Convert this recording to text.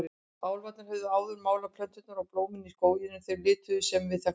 Álfarnir höfðu áður málað plönturnar og blómin í skóginum þeim litum sem við þekkjum.